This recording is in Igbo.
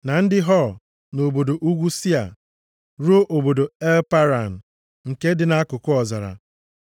na ndị Hor nʼobodo ugwu Sia, ruo obodo El Paran, nke dị nʼakụkụ ọzara.